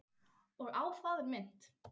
Og á það er minnt.